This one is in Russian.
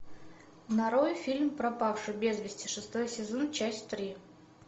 нарой фильм пропавший без вести шестой сезон часть три